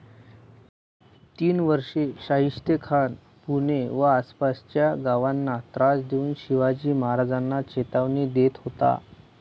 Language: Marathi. तीन वर्षे शाहिस्तेखान पुणे व आसपासच्या गावांना त्रास देऊन शिवाजी महाराजांना चेतावनी देत होता.